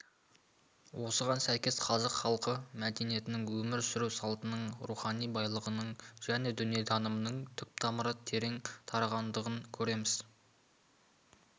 осыған сәйкес қазақ халқы мәдениетінің өмір сүру салтының рухани байлығының және дүниетанымының түп тамыры тереңнен тартатындығын көреміз